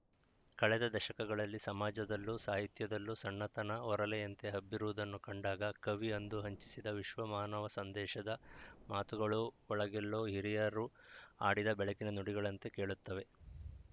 ಕಳೆದ ದಶಕಗಳಲ್ಲಿ ಸಮಾಜದಲ್ಲೂ ಸಾಹಿತ್ಯದಲ್ಲೂ ಸಣ್ಣತನ ಒರಲೆಯಂತೆ ಹಬ್ಬಿರುವುದನ್ನು ಕಂಡಾಗ ಕವಿ ಅಂದು ಹಂಚಿಸಿದ ವಿಶ್ವಮಾನವಸಂದೇಶದ ಮಾತುಗಳು ಒಳಗೆಲ್ಲೋ ಹಿರಿಯರು ಆಡಿದ ಬೆಳಕಿನ ನುಡಿಗಳಂತೆ ಕೇಳುತ್ತವೆ